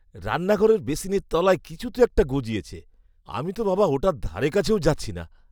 রান্নাঘরের বেসিনের তলায় কিছু তো একটা গজিয়েছে। আমি তো বাবা ওটার ধারেকাছেও যাচ্ছি না।